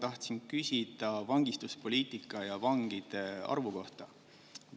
Ma tahtsin küsida vangistuspoliitika ja vangide arvu kohta.